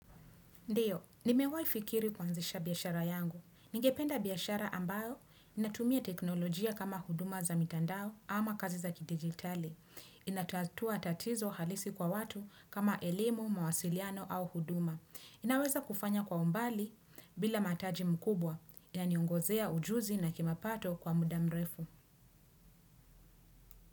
Ndiyo, nimewaifikiri kuaanzisha biashara yangu. Ningependa biashara ambayo, inatumia teknolojia kama huduma za mitandao ama kazi za kidigitali. Inatatua tatizo halisi kwa watu kama elimu, mawasiliano au huduma. Inaweza kufanya kwa umbali bila mataji mkubwa, ya niongozea ujuzi na kimapato kwa mudamrefu.